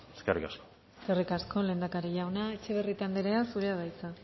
eskerrik asko eskerrik asko lehendakari jauna etxebarrieta anderea zurea da hitza